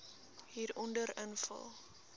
hieronder invul